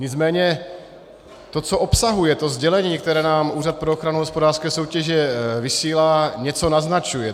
Nicméně to, co obsahuje, to sdělení, které nám Úřad pro ochranu hospodářské soutěže vysílá, něco naznačuje.